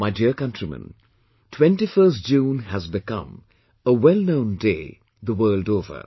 My dear countrymen, 21st June has become a well known day world over